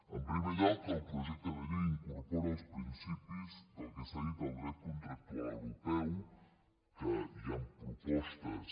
en primer lloc el projecte de llei incorpora els principis del que s’ha dit el dret contractual europeu que hi han propostes